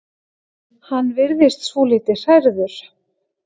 Hann virðist svolítið hrærður.